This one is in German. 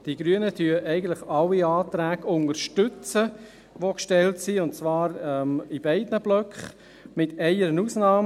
Die Grünen unterstützen eigentlich alle Anträge, welche gestellt sind, und zwar bei beiden Blöcken, mit einer Ausnahme.